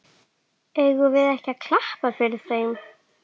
Eigum við ekki að klappa fyrir þeim?